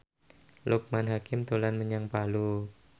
Loekman Hakim dolan menyang Palu